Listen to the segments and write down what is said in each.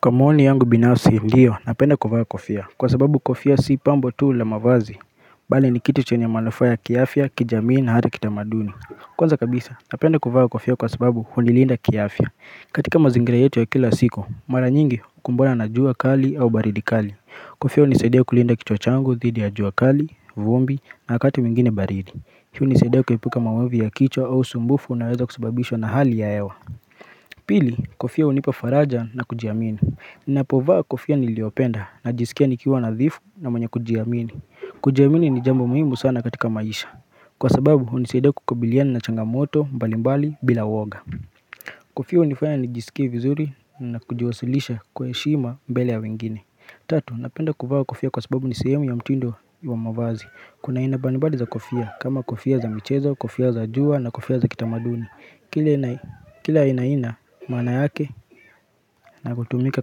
Kwa maoni yangu binafsi ndio napenda kuvaa kofia Kwa sababu kofia si pambo tu la mavazi bali ni kitu chenye manufaa ya kiafya, kijamii na hata kitamaduni. Kwanza kabisa napenda kuvaa kofia kwa sababu hunilinda kiafya. Katika mazingira yetu ya kila siku mara nyingi hukumbana na jua kali au baridi kali. Kofia hunisaidia kulinda kichwa changu, dhidi ya jua kali, vumbi na wakati mwingine baridi Hii hunisaidia kuepuka maovu ya kichwa au sumbufu unaweza kusababishwa na hali ya hewa Pili kofia hunipa faraja na kujiamini Ninapovaa kofia niliopenda najisikia nikiwa nadhifu na mwenye kujiamini kujiamini ni jambo muhimu sana katika maisha Kwa sababu hunisaidia kukabiliana na changamoto mbalimbali bila woga Kofia hunifanya nijisikie vizuri na kujiwasilisha kwa heshima mbele ya wengine Tatu, napenda kufaa kofia kwa sababu ni sehemu ya mtindo wa mavazi Kuna aina mbali mbali za kofia kama kofia za michezo, kofia za jua na kofia za kitamaduni Kila aina aina maana yake na kutumika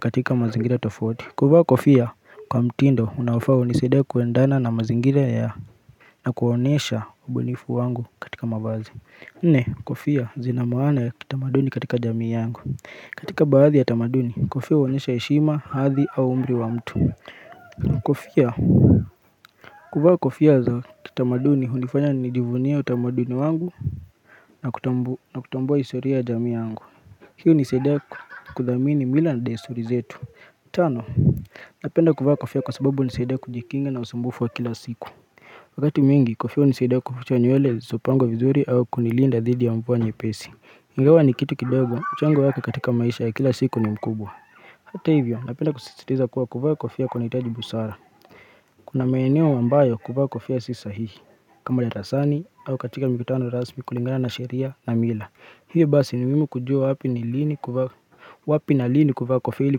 katika mazingira tofauti kuvaa kofia kwa mtindo unaofaa hunisaidia kuendana na mazingira ya na kuonesha ubunifu wangu katika mavazi Nne kofia zina maana ya kitamaduni katika jamii yangu katika baadhi ya tamaduni kofia huonyesha heshima, hadhi au umri wa mtu Kofia kuvaa kofia za kitamaduni hunifanya nijivunie utamaduni wangu na kutambua historia ya jamii yangu Hii hunisaidia kuthamini mila na desuri zetu Tano Napenda kuvaa kofia kwa sababu hunisaidia kujikinga na usumbufu wa kila siku Wakati mingi kofia hunisaidia kuficha nyewele zisizopangwa vizuri au kunilinda dhidi ya mvua nyepesi Ingawa ni kitu kidogo, mchango wake katika maisha ya kila siku ni mkubwa Hata hivyo, napenda kusititiza kuwa kuvaa kofia kunahitaji busara Kuna maeneo ambayo kuvaa kofia si sahihi kama darasani au katika mikutano rasmi kulingana na sheria na mila hiyo basi ni muhimu kujua wapi ni lini kuvaa wapi na lini kuvaa kofia ili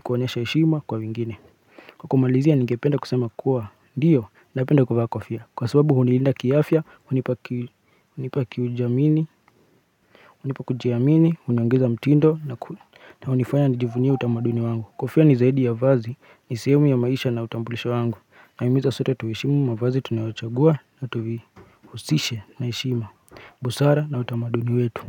kuonyesha heshima kwa wengine Kwa kumalizia nigependa kusema kuwa ndio napenda kuvaa kofia Kwa sababu hunilinda kiafya, hunipa kujiamini, huniongeza mtindo na hunifanya nijivunie utamaduni wangu Kofia ni zaidi ya vazi, ni sehemu ya maisha na utambulisho wangu Nahimiza sote tuheshimu mavazi tunayochagua na tuvi Usishe na heshima, busara na utamaduni wetu.